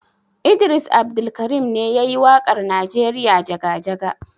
Idris Abdulkarim ne ya yi waƙar Najeriya jaga-jaga.